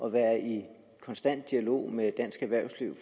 at være i konstant dialog med dansk erhvervsliv